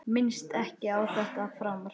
Minnist ekki á þetta framar.